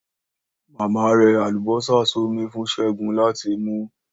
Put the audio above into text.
Mama rẹ àlùbósà sómi fun Segun láti mu ú